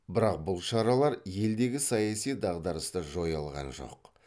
бірақ бұл шаралар елдегі саяси дағдарысты жоя алған жоқ